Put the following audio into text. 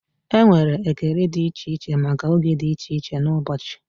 Enwere ekele dị iche iche maka oge dị iche iche n'ụbọchị.